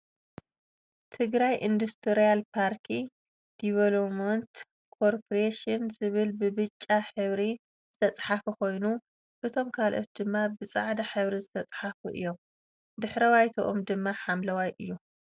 ትግራይ ኢንዱስትርያል ፓርኪ ዲቨሎፕመንት ኮርፖሬሽን ዝብል ብ ብጫ ሕብሪ ዝተፀሓፈ ኮይኑ እቶም ካልእት ድማ ብ ፅዕዳ ሕብሪ ዝተፀሓፉ እዮም ድሕረባይትኦም ድም ሓምለዋይ እዩ ።